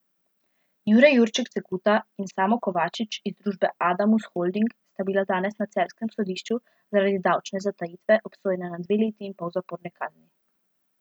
Jure Jurček Cekuta in Samo Kovačič iz družbe Adamus Holding sta bila danes na celjskem sodišču zaradi davčne zatajitve obsojena na dve leti in pol zaporne kazni.